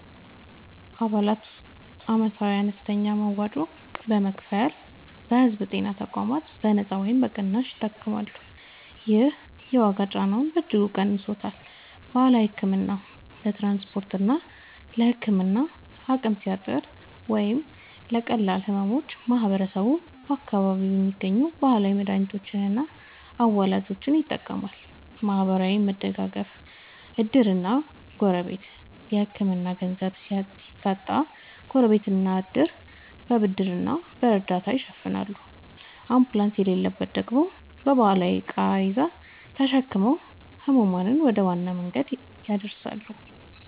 አባላት ዓመታዊ አነስተኛ መዋጮ በመክፈል በሕዝብ ጤና ተቋማት በነጻ ወይም በቅናሽ ይታከማሉ። ይህ የዋጋ ጫናውን በእጅጉ ቀንሶታል። ባህላዊ ሕክምና፦ ለትራንስፖርትና ለሕክምና አቅም ሲያጥር ወይም ለቀላል ሕመሞች ማህበረሰቡ በአካባቢው በሚገኙ ባህላዊ መድኃኒቶችና አዋላጆች ይጠቀማል። ማህበራዊ መደጋገፍ (ዕድርና ጎረቤት)፦ የሕክምና ገንዘብ ሲታጣ ጎረቤትና ዕድር በብድርና በእርዳታ ይሸፍናሉ፤ አምቡላንስ በሌለበት ደግሞ በባህላዊ ቃሬዛ ተሸክመው ሕሙማንን ወደ ዋና መንገድ ያደርሳሉ።